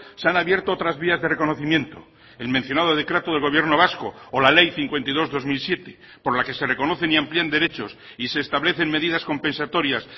se han abierto otras vías de reconocimiento el mencionado decreto del gobierno vasco o la ley cincuenta y dos barra dos mil siete por la que se reconocen y amplían derechos y se establecen medidas compensatorias